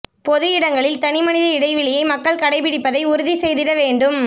பொது இடங்களில் தனி மனித இடவெளியை மக்கள் கடைபிடிப்பதை உறுதி செய்திட வேண்டும்